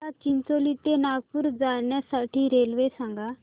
मला चिचोली ते नागपूर जाण्या साठी रेल्वे सांगा